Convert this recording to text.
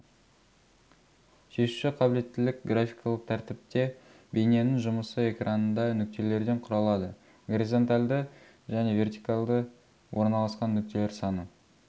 шешуші қабілеттілік графикалық тәртіпте бейненің жұмысы экранында нүктелерден құралады горизонталды және вертикалды орналасқан нүктелер саны